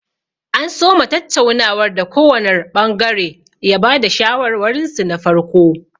An soma tattaunawar da kowanr ɓangare ya ba da shawarwarinsu na farko.